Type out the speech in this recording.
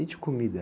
E de comida?